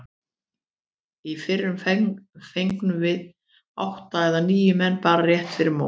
Í fyrra fengum við átta eða níu menn bara rétt fyrir mót.